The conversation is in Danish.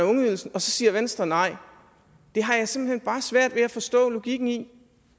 ungeydelsen og så siger venstre nej det har jeg simpelt hen bare svært ved at forstå logikken i